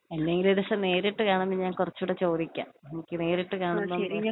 എന്നെങ്കിലും ഒരു ദിവസം നേരിട്ട് കാണുമ്പോ ഞാൻ കൊറച്ചും കൂടി ചോദിക്കാം എനിക്ക് നേരിട്ട് കാണുമ്പം.